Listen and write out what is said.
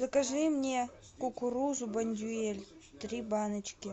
закажи мне кукурузу бондюэль три баночки